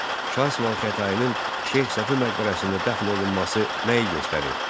Şah İsmayıl Xətainin Şeyx Səfi məqbərəsində dəfn olunması nəyi göstərir?